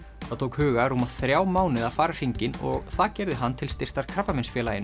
það tók Huga rúma þrjá mánuði að fara hringinn og það gerði hann til styrktar Krabbameinsfélaginu